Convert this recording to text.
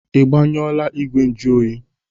Ị gbanyọọla igwe njụ oyi ahụ?